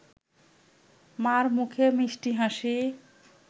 মা’র মুখে মিষ্টি হাসি